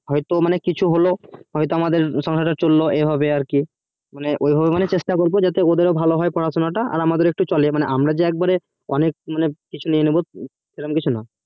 হয় তো আমাদের কিছু হোলো হয় তো আমাদের সংসার চললো এভাবে আর কি মানে ওই ভাবে চেষ্টা করবো যাতে ভালো হয় আর আমাদের পড়াশুনা তা আমাদের চলে অনেক মানে কিছু নিয়ে নিবো সে রকম কিছু না